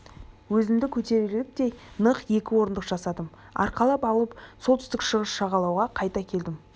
да өзімді көтерерліктей нық екі орындық жасадым арқалап алып солтүстік-шығыс жағалауға қайта келдім